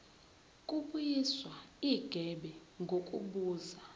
kubuyiswa igebe ngokubuza